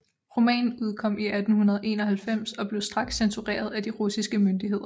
Romanen udkom i 1891 og blev straks censureret af de russiske myndigheder